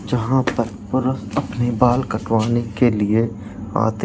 जहाँ पर पुरुष अपने बाल कटवाने के लिए आते --